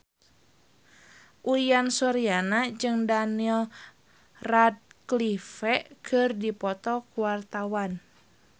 Uyan Suryana jeung Daniel Radcliffe keur dipoto ku wartawan